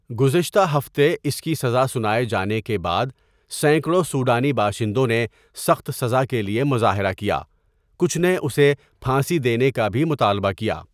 گزشتہ ہفتے اس کی سزا سنائے جانے کے بعد، سینکڑوں سوڈانی باشندوں نے سخت سزا کے لیے مظاہرہ کیا، کچھ نے اسے پھانسی دینے کا بھی مطالبہ کیا۔